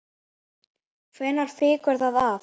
Hvenær fýkur það af?